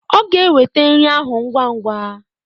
Ọ ga-eweta nri ahụ ngwa ngwa.